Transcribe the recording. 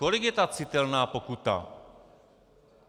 Kolik je ta citelná pokuta?